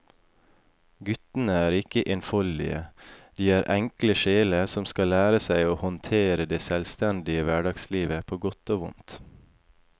Guttene er ikke enfoldige, de er enkle sjeler som skal lære seg å håndtere det selvstendige hverdagslivet på godt og vondt.